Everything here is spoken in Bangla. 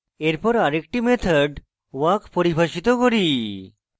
এরপর আরেকটি method walk পরিভাষিত করি